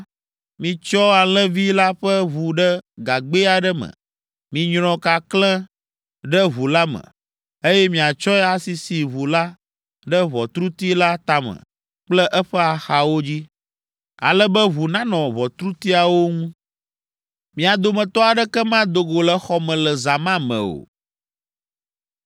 Mitsyɔ alẽvi la ƒe ʋu ɖe gagbɛ aɖe me. Minyrɔ kakle ɖe ʋu la me, eye miatsɔe asisi ʋu la ɖe ʋɔtruti la tame kple eƒe axawo dzi, ale be ʋu nanɔ ʋɔtrutiawo ŋu. Mia dometɔ aɖeke mado go le xɔ me le zã ma me o.